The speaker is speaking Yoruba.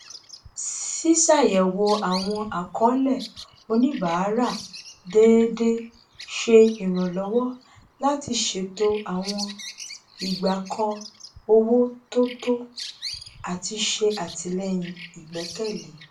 ṣíṣàyẹwò àwọn àkọọlẹ oníbàárà déédé ṣe ìrànlọwọ láti ṣètò àwọn igbàkọ owó tó tọ àti ṣe àtìlẹyìn igbẹkẹlé